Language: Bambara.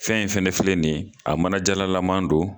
Fɛn in fɛnɛ filɛ nin ye a manajala laman do.